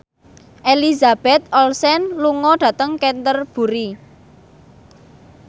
Elizabeth Olsen lunga dhateng Canterbury